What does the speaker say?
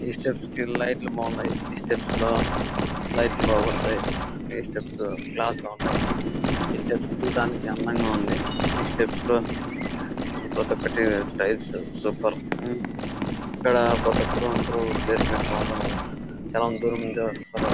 ఏ steps కి lighting బాగున్నాయ్. ఏ స్టెప్స్ లో లైట్లు బాగా పడతాయ్. ఏ స్టెప్స్ క్లాస్ గ ఉన్నాయ్. స్టెప్స్ చుడానికి అందంగా ఉన్నాయ్. స్టెప్స్ లో ప్రతి ఒకటి టైల్స్ సూపర్ . ఇక్కడ కొత్త క్లీనేర్ చాలా దూరం నుంచి వస్తారు.